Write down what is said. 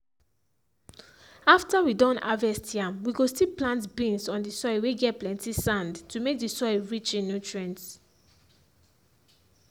after we don harvest yam we go still plant beans on the soil whey get plenty sand to make the soil rich in nutrients